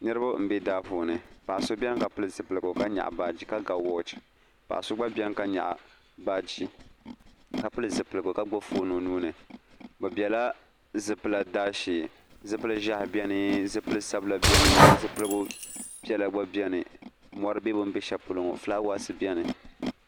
niriba m-be daa puuni paɣ'so beni ka pili zipiligu ka nyaɣi baaji ka ga wɔɔchi paɣ'so gba beni ka nyaɣi baaji ka pili zipiligu ka gbubi foon o nuu ni bɛ bela zupila daashee zupil'ʒiɛhi beni zupil'Sabila beni zipiligu piɛla gba beni mɔri be bɛ m-be shɛli polo ŋɔ flaawaasi beni